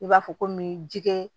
I b'a fɔ komi ji kɛ